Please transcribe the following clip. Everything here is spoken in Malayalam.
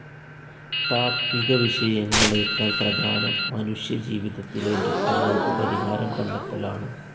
താത്വികവിഷയങ്ങളേക്കാൾ പ്രധാനം മനുഷ്യജീവിതത്തിലെ ദുഃഖങ്ങൾക്കു പരിഹാരം കണ്ടെത്തലാണ്.